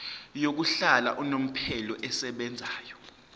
yokuhlala unomphela esebenzayo